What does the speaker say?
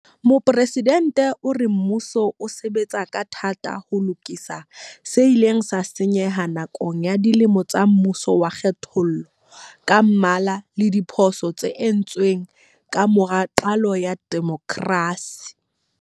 Mopresidente o re mmuso o sebetsa ka thata ho lokisa se ileng sa senyeha nakong ya dilemo tsa mmuso wa kgethollo ka mmala le diphoso tse entsweng ka mora qalo ya demokrasi.